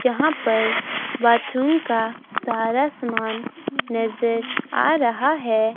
जहां पर बाथरूम का सारा समान नजर आ रहा है।